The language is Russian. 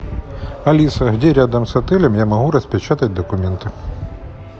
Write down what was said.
алиса где рядом с отелем я могу распечатать документы